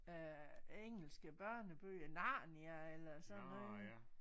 Øh engelske børnebøger Narnia eller sådan noget